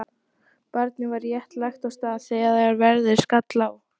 Barnið var rétt lagt af stað þegar veðrið skall á.